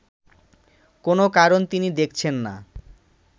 কোন কারণ তিনি দেখছেন না